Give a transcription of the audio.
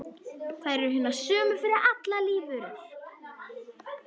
Þær eru hinar sömu fyrir allar lífverur.